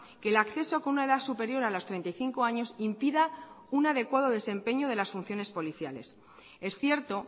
que el acceso con una edad superior a los treinta y cinco años impida un adecuado desempeño de las funciones policiales es cierto